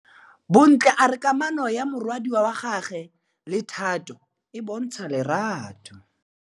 Bontle a re kamanô ya morwadi wa gagwe le Thato e bontsha lerato.